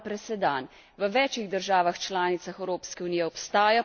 V večih državah članicah Evropske unije obstaja podoben zakon.